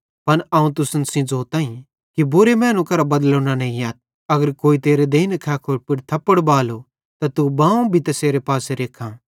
पन अवं तुसन सेइं ज़ोताईं कि बुरे मैनू करां बदलो न नेइयथ अगर कोई तेरे देइनी खैखोड़ी पुड़ थप्पड़ बालो त तू बाएं पासो भी तैसेरे पासे रेख्खां